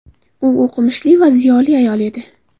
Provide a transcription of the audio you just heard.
U o‘qimishli va ziyoli ayol edi.